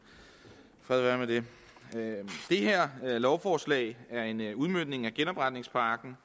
fred være med det det her lovforslag er en udmøntning af genopretningspakken